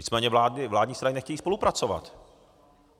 Nicméně vládní strany nechtějí spolupracovat.